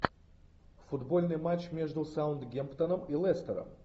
футбольный матч между саутгемптоном и лестером